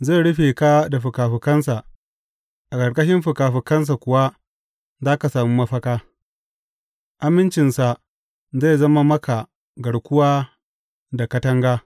Zai rufe ka da fikafikansa, a ƙarƙashin fikafikansa kuwa za ka sami mafaka; amincinsa zai zama maka garkuwa da katanga.